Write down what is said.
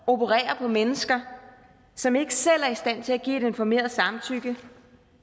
operere på mennesker som ikke selv er i stand til at give et informeret samtykke